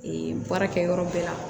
baarakɛ yɔrɔ bɛɛ la